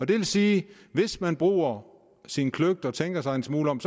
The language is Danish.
det vil sige at hvis man bruger sin kløgt og tænker sig en smule om